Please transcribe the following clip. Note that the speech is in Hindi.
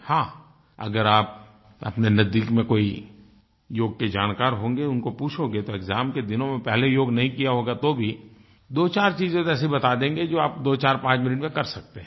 हाँ अगर आप अपने नजदीक में कोई योग के जानकार होंगे उनको पूछोगे तो एक्साम के दिनों में पहले योग नहीं किया होगा तो भी दोचार चीज़ें तो ऐसे बता देंगे जो आप दोचारपाँच मिनट में कर सकते हैं